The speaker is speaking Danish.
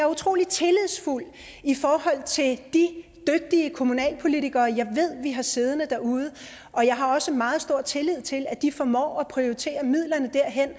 utrolig tillidsfuld i forhold til de dygtige kommunalpolitikere jeg ved vi har siddende derude og jeg har også meget stor tillid til at de formår at prioritere midlerne derhen